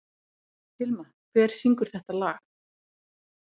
Hilma, hver syngur þetta lag?